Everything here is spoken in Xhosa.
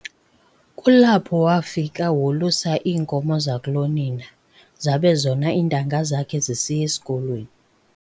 Kulapho wafika wolusa iinkomo zakulo nina, zabe zona iintanga zakhe zisiya esikolweni.